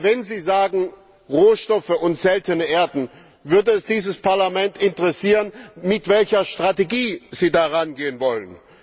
Aber wenn Sie von Rohstoffen und seltenen Erden sprechen, würde es dieses Parlament interessieren, mit welcher Strategie Sie daran gehen wollen.